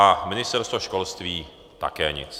A Ministerstvo školství také nic.